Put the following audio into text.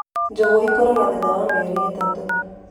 Njũgũ ikũraga thutha wa mĩeri ĩtatũ